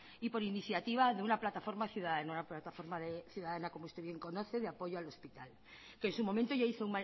y por iniciativa de una plataforma ciudadana como usted bien conoce de apoyo al hospital que en su momento ya